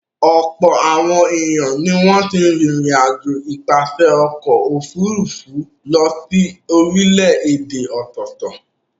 Ọ̀pọ̀ àwọn ènìyàn ni wọ́n ti rìnrìn-àjò nípasẹ̀ ọkọ̀-òfurufú lọ sí orílẹ̀-èdè ọ̀tọ̀ọ̀tọ̀.